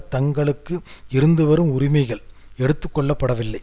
தங்களுக்கு இருந்து வரும் உரிமைகள் எடுத்துக்கொள்ளப்படவில்லை